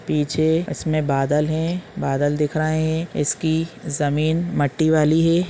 --पीछे इसमे बादल है बादल दिख रहा है इसकी जमीन मट्टी वाली है।